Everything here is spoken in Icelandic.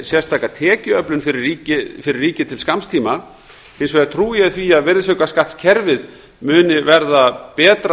sérstaka tekjuöflun fyrir ríkið til skamms tíma hins vegar trúi ég því að virðisaukaskattskerfið muni verða betra